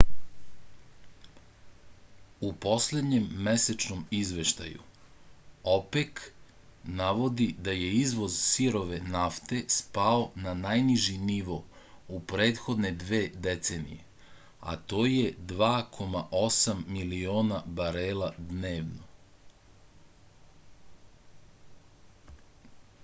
u poslednjem mesečnom izveštaju opek navodi da je izvoz sirove nafte spao na najniži nivo u prethodne dve decenije a to je 2,8 miliona barela dnevno